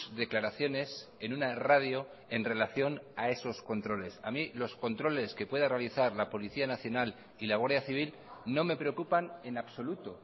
declaraciones en una radio en relación a esos controles a mí los controles que pueda realizar la policía nacional y la guardia civil no me preocupan en absoluto